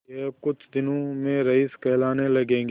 यह कुछ दिनों में रईस कहलाने लगेंगे